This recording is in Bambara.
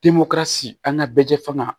Temɔri si an ka bɛ jɛ fanga